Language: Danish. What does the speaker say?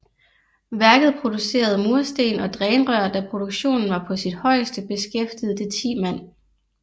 Værket producerede mursten og drænrør Da produktionen var på sit højeste beskæftigede det 10 mand